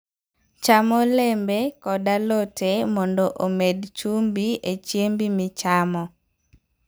Cham olembe kod alote mondo omed chumbi e chiembi michamo.